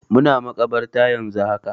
Muna makabarta yanzu haka.